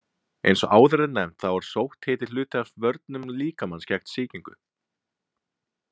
Eins og áður er nefnt þá er sótthiti hluti af vörnum líkamans gegn sýkingu.